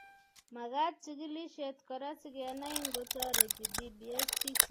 Magat chigilishet kora sikenai ngotoreti dbs biik chetinye miondop tourette syndrome.